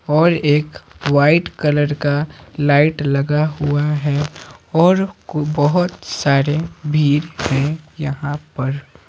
और एक white colour का लाइट लगा हुआ है और बहुत सारे भीर हैं यहां पर--